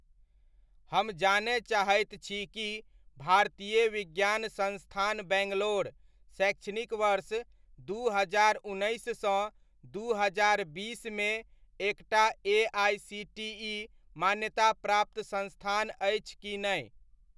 हम जानय चाहैत छी कि भारतीय विज्ञान संस्थान बैंगलोर शैक्षणिक वर्ष दू हजार उन्नैस सँ दू हजार बीसमे एकटा एआइसीटीइ मान्याताप्राप्त संस्थान अछि कि नै?